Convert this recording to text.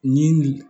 Ni nin